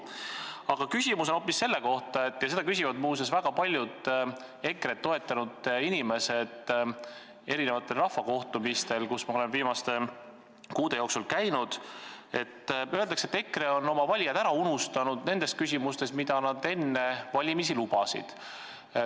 Aga küsimus on hoopis selle kohta – seda on küsinud muuseas väga paljud EKRE-t toetanud inimesed kohtumistel, kus ma olen viimaste kuude jooksul käinud –, et öeldakse, et EKRE on oma valijad ära unustanud nendes küsimustes, mille kohta nad enne valimisi lubadusi andsid.